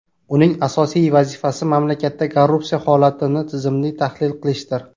Uning asosiy vazifasi mamlakatda korrupsiya holatini tizimli tahlil qilishdir.